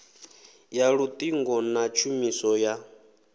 ya luṱingo na tshumiso ya